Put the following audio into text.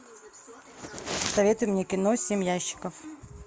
посоветуй мне кино семь ящиков